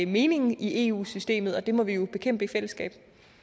meningen i eu systemet og det må vi jo bekæmpe i fællesskab